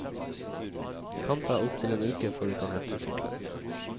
Kan ta opptil en uke før du kan hente sykkelen.